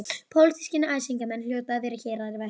Pólitískir æsingamenn hljóta að vera hér að verki.